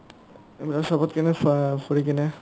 চবতকে না ফা ফুৰিকিনে